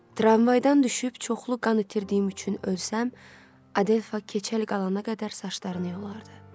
Tramvaydan düşüb çoxlu qan itirdiyim üçün ölsəm, Adelfa keçəl qalana qədər saçlarını yolardı.